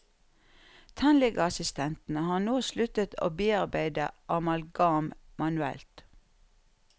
Tannlegeassistentene har nå sluttet å bearbeide amalgam manuelt.